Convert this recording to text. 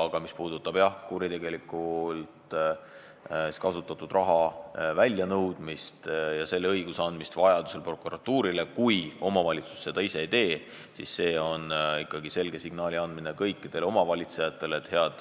Aga mis puudutab kuritegelikult kasutatud raha väljanõudmist ja vajaduse korral selle õiguse andmist prokuratuurile, kui omavalitsus seda ise ei tee, siis on vaja anda selge signaal kõikidele omavalitsejatele: head